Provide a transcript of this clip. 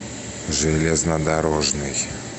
железнодорожный